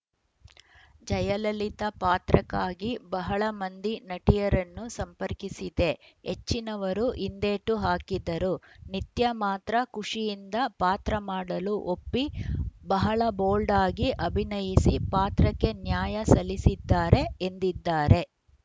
ಜಯಲಲಿತಾ ಪಾತ್ರಕ್ಕಾಗಿ ಬಹಳ ಮಂದಿ ನಟಿಯರನ್ನು ಸಂಪರ್ಕಿಸಿದ್ದೆ ಹೆಚ್ಚಿನವರು ಹಿಂದೇಟು ಹಾಕಿದರು ನಿತ್ಯಾ ಮಾತ್ರ ಖುಷಿಯಿಂದ ಪಾತ್ರ ಮಾಡಲು ಒಪ್ಪಿ ಬಹಳ ಬೋಲ್ಡ್‌ ಆಗಿ ಅಭಿನಯಿಸಿ ಪಾತ್ರಕ್ಕೆ ನ್ಯಾಯ ಸಲ್ಲಿಸಿದ್ದಾರೆ ಎಂದಿದ್ದಾರೆ